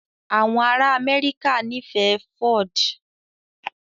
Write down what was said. Àwọn ará Amẹ́ríkà nífẹ̀ẹ́ Ford